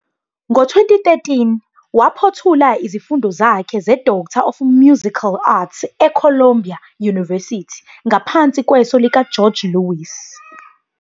Ngo-2013, waphothula izifundo zakhe zeDoctor of Musical Arts eColumbia University ngaphansi kweso likaGeorge Lewis.